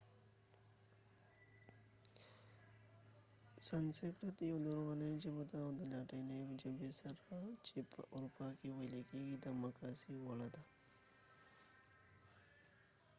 سانسکرت یوه لرغونې ژبه ده او د لاتیني ژبې سره چې په اروپا کې ویل کیږي د مقایسې وړ ده